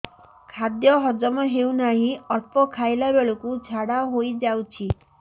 ଖାଦ୍ୟ ହଜମ ହେଉ ନାହିଁ ଅଳ୍ପ ଖାଇଲା ବେଳକୁ ଝାଡ଼ା ହୋଇଯାଉଛି